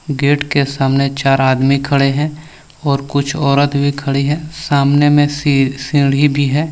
Gate के सामने चार आदमी खड़े हैं और कुछ औरत भी खड़ी है सामने में सी सीढ़ी भी है।